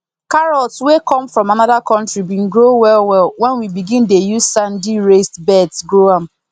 carrots wey come from another country been grow well well when we begin dey use sandy raised beds grow am